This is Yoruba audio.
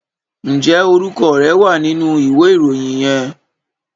Ǹjẹ́ orúkọ rẹ wà nínú ìwé ìròyìn yẹn?